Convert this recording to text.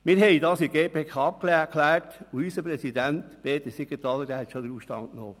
Wir haben das in der GPK abgeklärt und unser Präsident, Peter Siegenthaler, ist bereits in den Ausstand getreten.